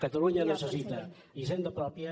catalunya necessita hisenda pròpia